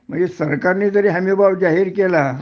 म्हणजे सरकारने जरी हमीभाव जाहीर केला